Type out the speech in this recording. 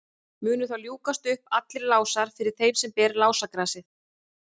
munu þá ljúkast upp allir lásar fyrir þeim sem ber lásagrasið